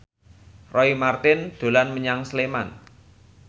Roy Marten dolan menyang Sleman